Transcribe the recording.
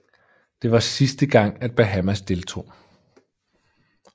Det var sidste gang at Bahamas deltog